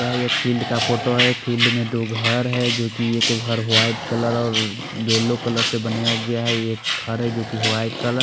यहाँ एक फिल्ड का फोटो है फिल्ड में दो घर है जो की एक घर वाइट कलर और येलो कलर से बनाया गया है एक घर है जो की वाइट कलर--